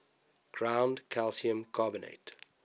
ground calcium carbonate